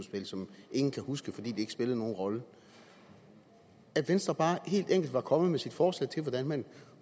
ingen kan huske fordi det ikke spillede nogen rolle at venstre bare helt enkelt var kommet med sit forslag til hvordan man